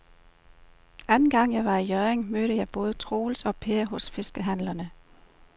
Anden gang jeg var i Hjørring, mødte jeg både Troels og Per hos fiskehandlerne.